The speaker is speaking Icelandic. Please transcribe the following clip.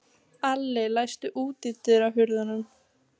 Alli, læstu útidyrunum.